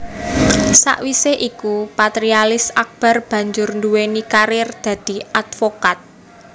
Sakwisé iku Patrialis Akbar banjur nduwéni karir dadi advokat